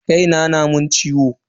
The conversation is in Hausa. Kai na na mun ciwo.